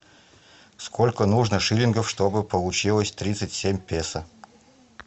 сколько нужно шиллингов чтобы получилось тридцать семь песо